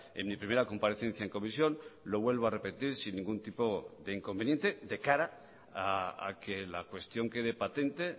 en mi primera comparecencia en comisión lo vuelvo a repetir sin ningún tipo de inconveniente de cara a que la cuestión quede patente